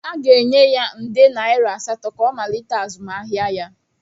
Aga-enye ya nde naira asatọ ka ọ malite azụmahịa ya.